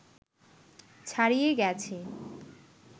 ছাড়িয়ে গেছে